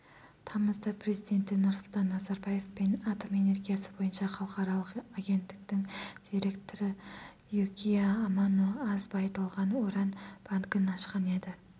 тамызда президенті нұрсұлтан назарбаев пен атом энергиясы бойынша халықаралық агенттіктің директоры юкия амано аз байытылған уран банкін ашқан еді